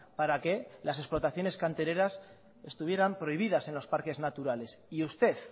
para que las explotaciones cantereras estuvieran prohibidas en los parques naturales y usted